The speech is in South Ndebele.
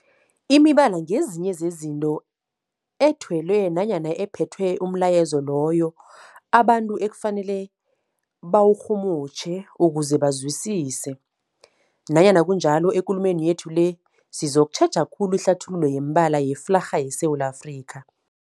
Imibala ngezinye zezinto ethelwe nanyana ephethe umlayezo loyo abantu ekufanele bawurhumutjhe ukuze bawuzwisise. Nanyana kunjalo, ekulumeni yethu le sizokutjheja khulu ihlathululo yemibala yeflarha yeSewula Afrika.